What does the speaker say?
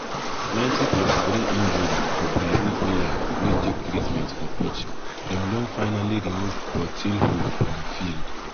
90+3 injury for brazil player wey take treatment for pitch dem don finally remove portilho from field.